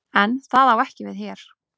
En það á ekki við hér.